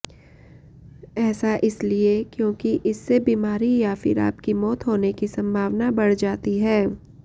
ऐसा इसलिए क्योंकि इससे बीमारी या फिर आपकी मौत होने की संभावना बढ़ जाती है